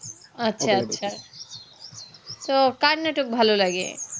আচ্ছা আচ্ছা তো কার নাটক ভালো লাগে